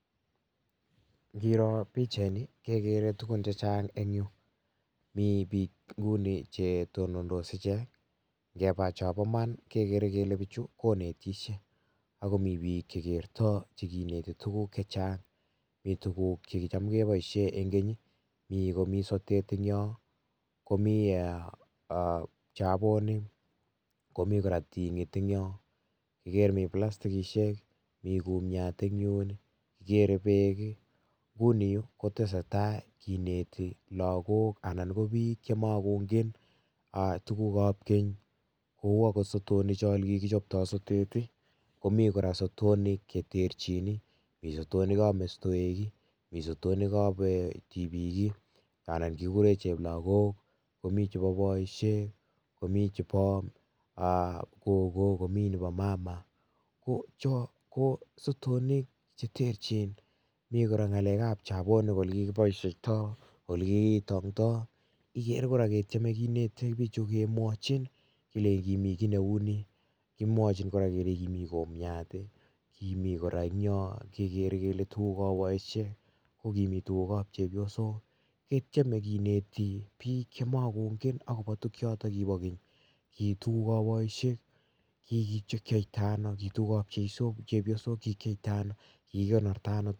ingiroo pichait ni kegere tuguun che chaang en yuu, mii biik nguni che tonondos icheget ingebaa chambo imaan kegere kele bichuu konetisyee ago mii biik che kertoi che kinetii tuguuk chaang mii tuguuk chekitaam kebaisheen en keeny mi tuguuk en yoon chee uu sotet, komii kora pchabonik komii kora ptyngiit mii kora plaskisiek , mii kumiat kora en yuun kigere beek nguni yuu kotesetai kinetii biik anan ko lagook chema kongen tuguuk ab keeny che uu akoot sotonik ab keeny ,ole kikichaptoi sotonik mii kora sotonik mii sotonik ab mestoweek , mii sotonik ab tibiik ii anan cheplagook komii chebo boisiek komii cheboo gogo komii nebo mama ko choon ko sotonik che teerjin mii kora ngalek ab jakoni ole kikichaptoi , ole kikitantoi igere kora ketieme kemachin kelechin kimii kiy ne uu ni kimwachi kora kelenjiin kimii kumiat ii eng yoon kegerre kele tuguuk ab boisiek kimii kora chebo chepyosok ,ketyeme kinete biik che makongeen agobo tuguuk chotoon kiboo keeny kii tuguuk ab boisiek kikipcheptaa ano chepyosok kikikornorta ano.